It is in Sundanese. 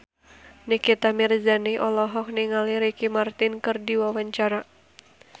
Nikita Mirzani olohok ningali Ricky Martin keur diwawancara